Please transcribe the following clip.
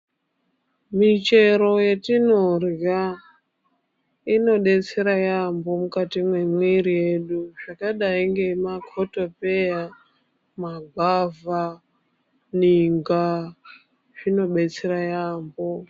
Michero yetinorya inobetsera yambo mukati memwiri yedu zvakadai ngema kotopeya, magwavha, ninga zvinobetsera yambo.